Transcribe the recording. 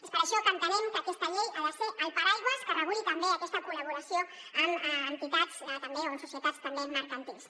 és per això que entenem que aquesta llei ha de ser el paraigua que reguli també aquesta col·laboració amb entitats o amb societats també mercantils